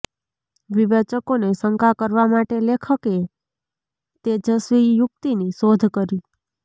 વિવેચકોને શંકા કરવા માટે લેખકએ તેજસ્વી યુક્તિની શોધ કરી